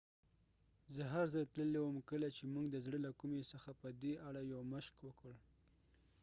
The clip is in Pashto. زه هرځل تللی وم کله چې موږ د زړه له کومې څخه په دې اړه یو مشق وکړ